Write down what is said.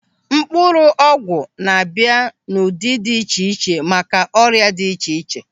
Mkpụrụ ọgwụ na-abịa n'ụdị dị iche iche maka ọrịa dị iche iche.